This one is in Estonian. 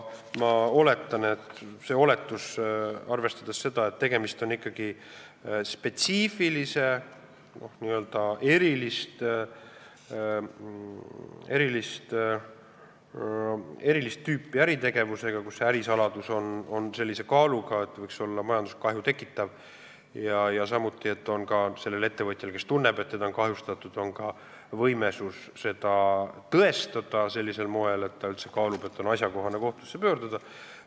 Aga tegemist on ikkagi spetsiifilise, erilist tüüpi äritegevusega, kus ärisaladus on sellise kaaluga, et ta võiks majanduskahju tekitada, ja samuti peab sellel ettevõtjal, kes tunneb, et teda on kahjustatud, olema võimekus seda tõestada sellisel moel, et ta üldse kaalub, kas on asjakohane kohtusse pöörduda.